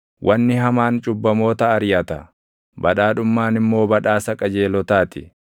Wanni hamaan cubbamoota ariʼata; badhaadhummaan immoo badhaasa qajeelotaa ti.